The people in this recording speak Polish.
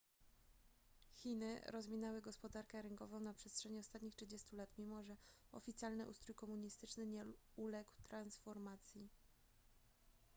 chiny rozwinęły gospodarkę rynkową na przestrzeni ostatnich 30 lat mimo że oficjalny ustrój komunistyczny nie uległ transformacji